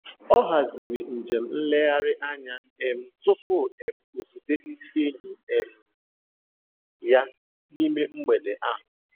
Ọ haziri nje m nleghari anya um tupu um o zute ndị enyi um ya n'ime mgbede ahụ